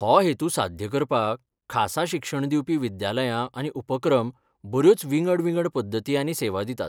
हो हेतू साध्य करपाक खासा शिक्षण दिवपी विद्यालयां आनी उपक्रम बऱ्योच विंगड विंगड पद्दती आनी सेवा दितात.